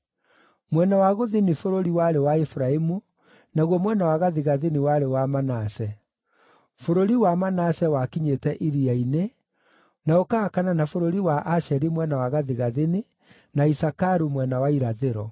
Mwena wa gũthini bũrũri warĩ wa Efiraimu, naguo mwena wa gathigathini warĩ wa Manase. Bũrũri wa Manase wakinyĩte iria-inĩ, na ũkahakana na bũrũri wa Asheri mwena wa gathigathini, na Isakaru mwena wa irathĩro.